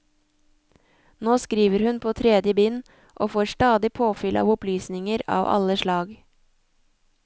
Nå skriver hun på tredje bind, og får stadig påfyll av opplysninger av alle slag.